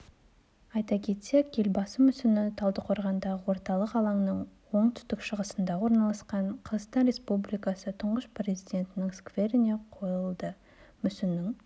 айта кетсек елбасы мүсіні талдықорғандағы орталық алаңның оңтүстік-шығысында орналасқан қазақстан республикасы тұңғыш президентінің скверіне қойылды мүсіннің